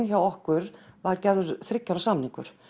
hjá okkur var gerður þriggja ára samningur